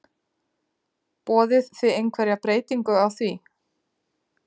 Boðið þið einhverja breytingu á því?